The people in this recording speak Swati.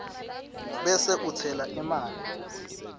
bese utsela emanti